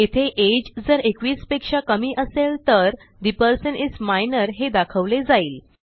येथे अगे जर 21 पेक्षा कमी असेल तर ठे पर्सन इस मायनर हे दाखवले जाईल